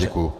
Děkuji.